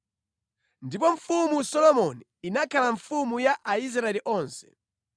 Ndipo Mfumu Solomoni inakhala mfumu ya Aisraeli onse.